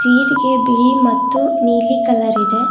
ಬಿಳಿ ಮತ್ತು ನೀಲಿ ಕಲರ್ ಇದೆ.